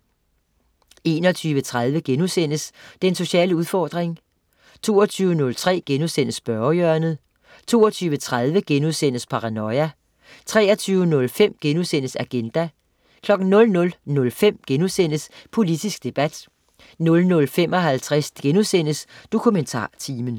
21.30 Den sociale udfordring* 22.03 Spørgehjørnet* 22.30 Paranoia* 23.05 Agenda* 00.05 Politisk debat* 00.55 DokumentarTimen*